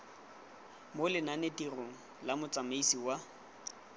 mo lenanetirong la motsamaisi wa